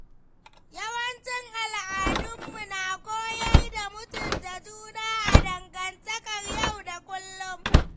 Yawancin al’adunmu na koyar da mutunta juna a dangantakar yau da kullum.